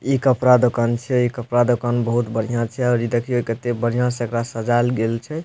इ कपड़ा दुकान छै इ कपड़ा दुकान बहुत बढ़िया छै और देखियो कते बढ़िया से एकरा सजायल गएल छै --